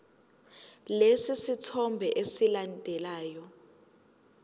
lesi sithombe esilandelayo